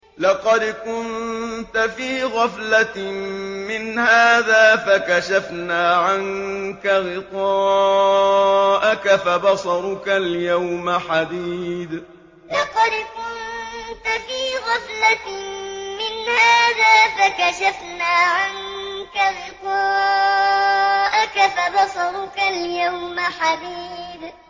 لَّقَدْ كُنتَ فِي غَفْلَةٍ مِّنْ هَٰذَا فَكَشَفْنَا عَنكَ غِطَاءَكَ فَبَصَرُكَ الْيَوْمَ حَدِيدٌ لَّقَدْ كُنتَ فِي غَفْلَةٍ مِّنْ هَٰذَا فَكَشَفْنَا عَنكَ غِطَاءَكَ فَبَصَرُكَ الْيَوْمَ حَدِيدٌ